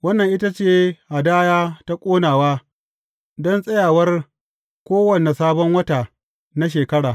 Wannan ita ce hadaya ta ƙonawa don tsayawar kowane sabon wata na shekara.